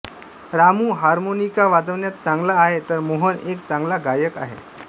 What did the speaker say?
Ramu harmonica वाजवण्यात चांगला आहे तर मोहन एक चांगला गायक आहे